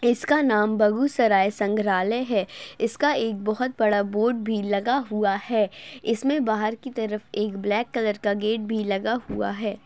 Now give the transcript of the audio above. इसका नाम बगुसराय संग्रालय है इसका एक बहोत बड़ा बोर्ड भी लगा हुआ है इसमें बाहर की तरफ एक ब्लैक कलर का गेट भी लगा हुआ है।